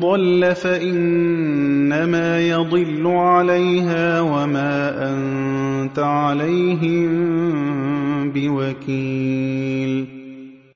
ضَلَّ فَإِنَّمَا يَضِلُّ عَلَيْهَا ۖ وَمَا أَنتَ عَلَيْهِم بِوَكِيلٍ